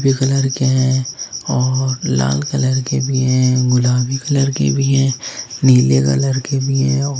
colour के हैं और लाल कलर के भी हैं गुलाबी कलर के भी हैं नीले कलर के भी हैं और--